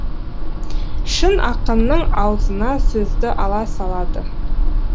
шын ақынның аузына сөзді алла салады